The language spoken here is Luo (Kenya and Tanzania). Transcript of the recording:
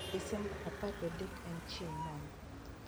Desemba apar gadek en chieng' mane